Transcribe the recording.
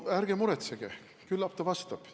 Ärge muretsege, küllap ta vastab sellele.